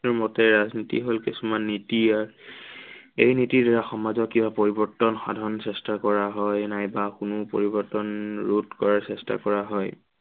মতে ৰাজনীতি হল কিছুমান নীতি। আৰু এই নীতিৰ দ্বাৰা সমাজৰ কিবা পৰিৱৰ্তন সাধন চেষ্টা কৰা হয়, নাইবা কোনো পৰিৱৰ্তন ৰোধ কৰাৰ চেষ্টা কৰা হয়।